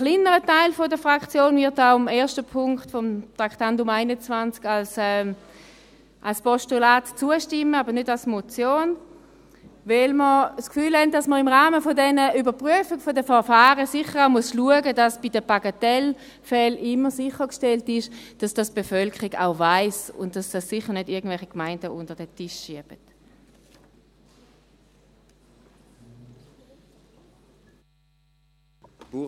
Ein kleinerer Teil der Fraktion wird auch dem ersten Punkt des Traktandums 21 als Postulat zustimmen, aber nicht als Motion, weil wir das Gefühl haben, dass man im Rahmen dieser Überprüfung der Verfahren sicher auch schauen muss, dass bei den Bagatellfällen immer sichergestellt ist, dass die Bevölkerung dies auch weiss, und dass dies sicher nicht irgendwelche Gemeinden unter den Tisch schieben.